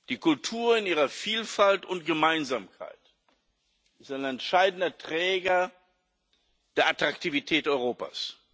Die Kultur in ihrer Vielfalt und Gemeinsamkeit ist ein entscheidender Träger der Attraktivität Europas.